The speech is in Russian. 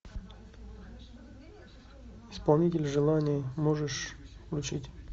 исполнитель желаний можешь включить